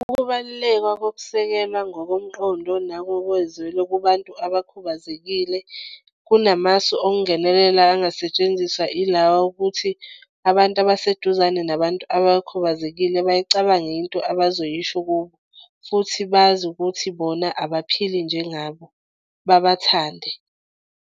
Ukubaluleka kokusekelwa ngokomqondo nangokozwelo kubantu abakhubazekile kunamasu okungenelela angasetshenziswa ilawa okuthi abantu abaseduzane nabantu abakhubazekile bayicabange into abazoyisho kubo futhi bazi ukuthi bona abaphili njengabo babathande.